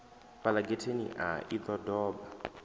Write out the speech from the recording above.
fhala getheni a i doba